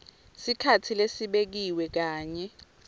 sikhatsi lesibekiwe kanye